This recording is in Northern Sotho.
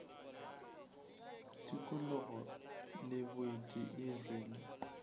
tikologo le boeti e rwele